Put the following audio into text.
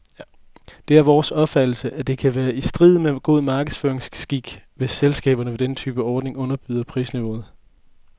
Det er vores opfattelse, at det kan være i strid med god markedsføringsskik, hvis selskaberne ved denne type ordninger underbyder prisniveauet.